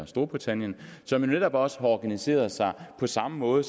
storbritannien som jo netop også har organiseret sig på samme måde